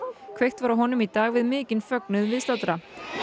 kveikt var á honum í dag við mikinn fögnuð viðstaddra